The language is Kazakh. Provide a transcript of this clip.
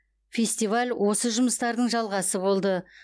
фестиваль осы жұмыстардың жалғасы болды